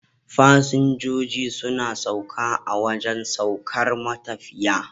fasinjijo suna sauka a wajan saukar matafiya